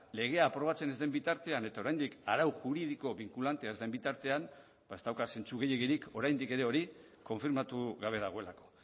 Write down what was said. legea aprobatzen ez den bitartean eta oraindik arau juridiko binkulantea ez den bitartean ba ez dauka zentzu gehiegirik oraindik ere hori konfirmatu gabe dagoelako